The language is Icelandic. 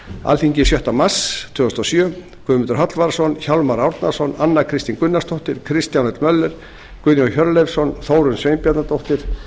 alþingi sjötta mars tvö þúsund og sjö guðmundur hallvarðsson hjálmar árnason anna kristín gunnarsdóttir kristján l möller guðjón hjörleifsson þórunn sveinbjarnardóttir